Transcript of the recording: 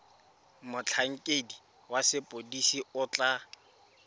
motlhankedi wa sepodisi o tla